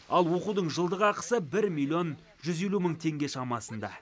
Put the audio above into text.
ал оқудың жылдық ақысы бір миллион жүз елу мың теңге шамасында